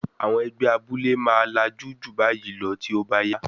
Àwọn ẹgbẹ́ abúlé máa lajú ju báyìí lọ tí ó bá yá.